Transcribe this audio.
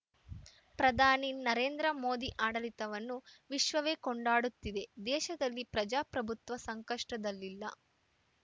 ಪ್ರಧಾನಿ ನರೇಂದ್ರ ಮೋದಿ ಆಡಳಿತವನ್ನು ವಿಶ್ವವೇ ಕೊಂಡಾಡುತ್ತಿದೆ ದೇಶದಲ್ಲಿ ಪ್ರಜಾಪ್ರಭುತ್ವ ಸಂಕಷ್ಟದಲ್ಲಿಲ್ಲ